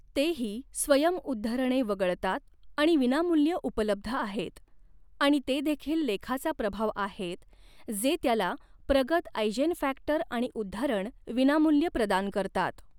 ते ही स्वयं उद्धरणे वगळतात आणि विनामूल्य उपलब्ध आहेत आणि ते देखील लेखाचा प्रभाव आहेत जे त्याला प्रगत ऐजेनफॅक्टर आणि उद्धरण विनामूल्य प्रदान करतात.